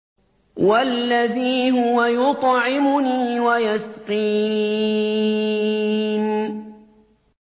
وَالَّذِي هُوَ يُطْعِمُنِي وَيَسْقِينِ